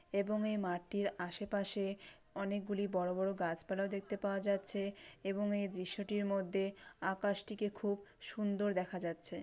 এবং এই মাঠটির আশে পাশে অনেক গুলি বড়ো বড়ো গাছ পালাও দেখতে পাওয়া যাচ্ছে এবং এই দৃশ্য টির মধ্যে আকাশ টিকে খুব সুন্দর দেখা যাচ্ছে।